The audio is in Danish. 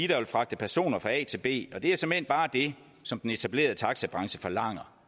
der vil fragte personer fra a til b og det er såmænd bare det som den etablerede taxabranche forlanger